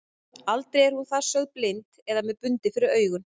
Aldrei er hún þar sögð blind eða með bundið fyrir augun.